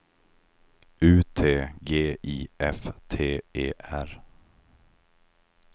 U T G I F T E R